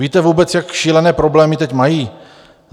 Víte vůbec, jak šílené problémy teď mají?